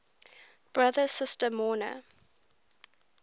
brother sister mourner